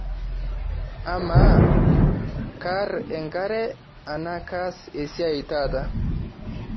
amaa kaar engare anaa kaas esiai taata